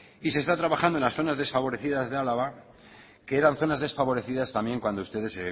y se está trabajando en las zonas desfavorecidas de álava que eran zonas desfavorecidas también cuando ustedes